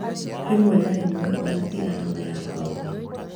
Rĩmwe na rĩmwe ona tĩ arama ya ngothi